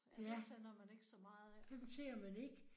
Ja. Dem ser man ikke